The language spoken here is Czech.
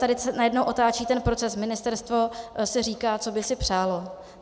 Tady se najednou otáčí ten proces - ministerstvo si říká, co by si přálo.